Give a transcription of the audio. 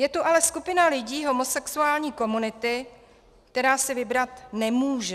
Je tu ale skupina lidí homosexuální komunity, která si vybrat nemůže.